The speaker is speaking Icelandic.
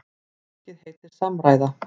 Verkið heitir Samræða.